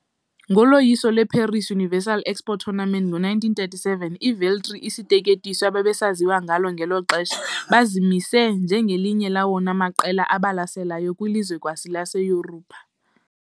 Ngoloyiso lweParis Universal Expo Tournament ngo-1937, iVeltri, isiteketiso ababesaziwa ngaso ngelo xesha, bazimise njengelinye lawona maqela abalaseleyo kwilizwekazi laseYurophu .